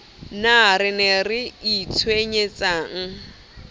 na re ne re itshwenyetsang